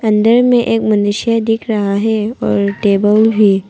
अंदर में एक मनुष्य भी दिख रहा है और टेबल भी--